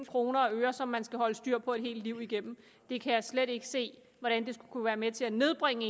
kroner og øre som man skal holde styr på et helt liv igennem jeg kan slet ikke se hvordan det skulle kunne være med til at nedbringe